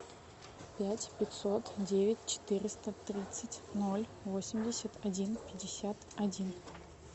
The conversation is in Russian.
пять пятьсот девять четыреста тридцать ноль восемьдесят один пятьдесят один